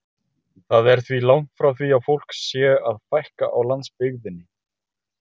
Það er því langt frá því að fólki sé að fækka á landsbyggðinni.